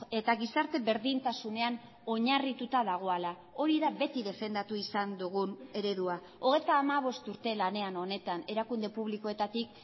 eta gizarte berdintasunean oinarrituta dagoela hori da beti defendatu izan dugun eredua hogeita hamabost urte lanean honetan erakunde publikoetatik